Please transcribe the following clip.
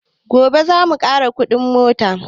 Gobe zamu ƙara kuɗin mota